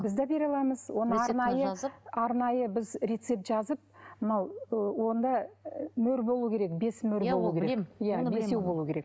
біз де бере аламыз оны арнайы арнайы біз рецепт жазып мынау ы онда і мөр болу керек бес мөр болу керек иә бесеу болу керек